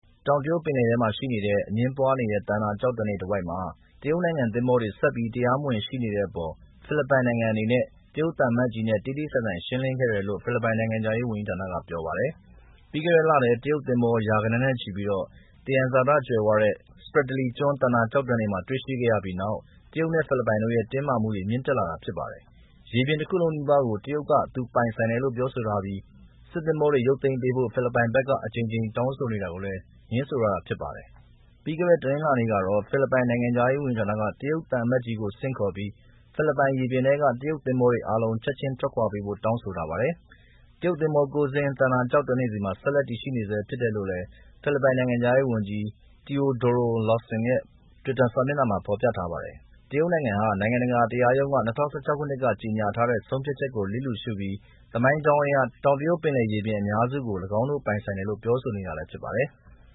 တောင်တရုတ်ပင်လယ်ထဲမှာရှိတဲ့ အငြင်းပွားနေတဲ့ သန္တာကျောက်တန်းတွေဝိုက်မှာ တရုတ်နိုင်ငံ သင်္ဘောတွေဆက်ပြီး တရားမဝင်ရှိနေတဲ့အပေါ် ဖိလစ်ပိုင်နိုင်ငံအနေနဲ တရုတ်သံအမတ်ကြီးနဲ့ တေ့တေ့ဆိုင်ဆိုင် ရှင်းလင်းခဲ့တယ်လို့ ဖိလစ်ပိုင်နိုင်ငံခြားရေး ဝန်ကြီးဌာနက ပြောပါတယ်။ ပြီးခဲ့တဲ့လထဲ တရုတ်သင်္ဘော ရာဂဏန်းနဲ့ချီပြီး သယံဇာတကြွယ်ဝတဲ့ နေတဲ့ Spratly ကျွန်း သန္တာကျောက်တန်းတွေမှာ တွေ့ရှိခဲ့ရပြီးနောက် တရုတ်နဲ့ဖိလစ်ပိုင်တို့ရဲ့ တင်းမာမှုတွေ မြင့်တက်လာတာဖြစ်ပါတယ်။ ရေပြင်တခုလုံးနီးပါးကို တရုတ်က သူပိုင်ဆိုင်တယ်လို့ပြောဆိုထားပြီး စစ်သင်္ဘောတွေရုပ်သိမ်းပေးဖို့ဖိလစ်ပိုင်ဘက်က အကြိမ်ကြိမ်တောင်းဆိုနေတာကိုလည်း ငြင်းဆိုထားတာဖြစ်ပါတယ်။ ပြီးခဲ့တဲ့ တနင်္လာနေ့ကတော့ တရုတ်သံအမတ်ကြီးကို ဆင့်ခေါ်ပြီး ဖိလစ်ပိုင်ရေပြင်ထဲက တရုတ်သင်္ဘောတွေအာလုံး ချက်ချင်းထွက်ခွာပေးဖို့တောင်းဆိုထားပါတယ်။ တရုတ်သင်္ဘော၉ စင်း သန္တာကျောက်တန်းတွေဆီမှာ ဆက်လက်ရှိနေဆဲဖြစ်တယ်လို့လည်း ဖိလစ်ပိုင် နိုင်ငံခြားရေးဝန်ကြီး Teodoro Locsin ရဲ့ Twitter စာမျတ်နှာမှာ ဖော်ပြထားပါတယ်။ တရုတ်နိုင်ငံဟာ နိုင်ငံတကာတရားရုံးက ၂၀၁၆ က ကြေညာထားတဲ့ ဆုံးဖြတ်ချက်ကိုလစ်လျူရှုပြီး သမိုင်းကြောင်းအရ တောင်တရုတ်ပင်လယ်ရေပြင် အများစုကို ၎င်းတို့ပိုင်ဆိုင်တယ်လို့ပြောဆိုနေတာလည်းဖြစ်ပါတယ်။